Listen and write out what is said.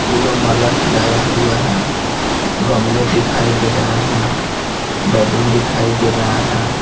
फूलो माला सजाया हुआ है गमले दिखाई दे रहे हैं बैलून दिखाई दे रहा है।